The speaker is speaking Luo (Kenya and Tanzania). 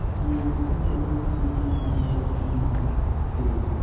Yier kendo los chiemo man kod chumbi matin.